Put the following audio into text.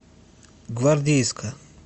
гвардейска